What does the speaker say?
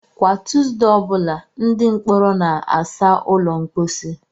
Kwa Tuesday ọ bụla, ndị mkpọrọ na-asa ụlọ mposi.